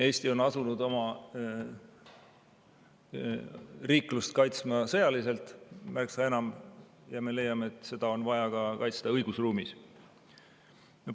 Eesti on asunud oma riiklust kaitsma sõjaliselt märksa enam ja me leiame, et seda on vaja kaitsta ka õigusruumis.